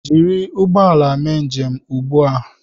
Jiri ụgbọ ala mee njem ugbu a!